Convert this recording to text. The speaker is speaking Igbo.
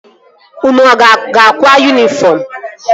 Unu a ga-akwa yunifọm?